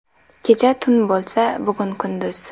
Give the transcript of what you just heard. Kecha tun bo‘lsa, bugun kunduz.